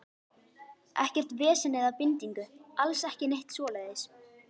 Ekkert vesen eða bindingu, alls ekki neitt svoleiðis.